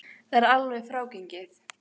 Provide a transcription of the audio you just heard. Það er ekki alveg frágengið.